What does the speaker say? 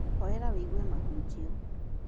Horera wĩigue mahunjio.